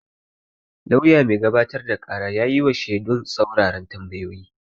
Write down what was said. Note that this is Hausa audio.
Lauyan mai gabatar da ƙara ya yi wa shedun tsaruraran tambayoyi.